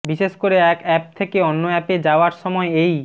বিশেষ করে এক অ্যাপ থেকে অন্য অ্যাপ এ যাওয়ার সময় এই